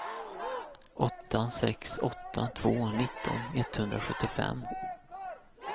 åtta sex åtta två nitton etthundrasjuttiofem